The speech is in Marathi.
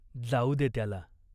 जाऊ दे त्याला.